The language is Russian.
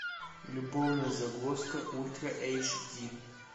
любовная загвоздка ультра эйч ди